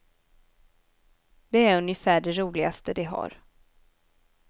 Det är ungefär det roligaste de har.